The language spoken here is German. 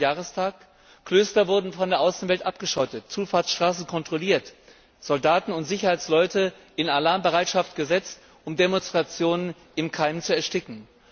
50. Jahrestag wurden Klöster von der Außenwelt abgeschottet, Zufahrtsstraßen kontrolliert, Soldaten und Sicherheitsleute in Alarmbereitschaft versetzt, um Demonstrationen im Keim zu ersticken.